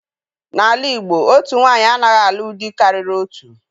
N'ala Igbo, otu nwaanyị anaghị alụ dị karịrị otu.